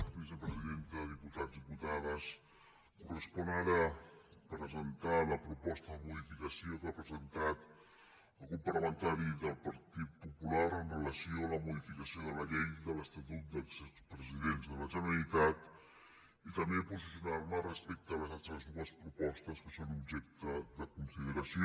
vicepresidenta diputats diputades correspon ara presentar la proposta de modificació que ha presentat el grup parlamentari del partit popular amb relació a la modificació de la llei de l’estatut dels expresidents de la generalitat i també posicionar me respecte a les altres dues propostes que són objecte de consideració